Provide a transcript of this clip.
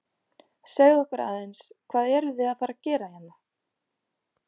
Segðu okkur aðeins, hvað eruð þið að fara að gera hérna?